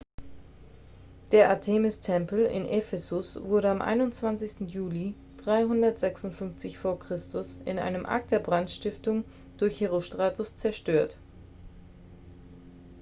der artemis-tempel in ephesus wurde am 21. juli 356 v. chr. in einem akt der brandstiftung durch herostratus zerstört